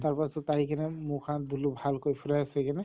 তাৰ পাছত আহি কেনে মুখ হাত ধুলো ভালকৈ fresh হৈ কিনে